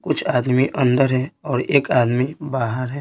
कुछ आदमी अंदर है और एक आदमी बाहर है।